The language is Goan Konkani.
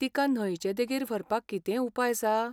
तिका न्हंयचे देगेर व्हरपाक कितेंय उपाय आसा?